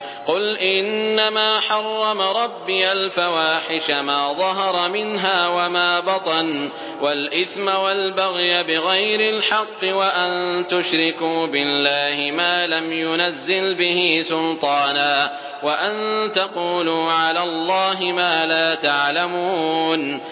قُلْ إِنَّمَا حَرَّمَ رَبِّيَ الْفَوَاحِشَ مَا ظَهَرَ مِنْهَا وَمَا بَطَنَ وَالْإِثْمَ وَالْبَغْيَ بِغَيْرِ الْحَقِّ وَأَن تُشْرِكُوا بِاللَّهِ مَا لَمْ يُنَزِّلْ بِهِ سُلْطَانًا وَأَن تَقُولُوا عَلَى اللَّهِ مَا لَا تَعْلَمُونَ